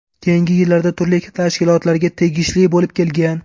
Keyingi yillarda turli tashkilotlarga tegishli bo‘lib kelgan.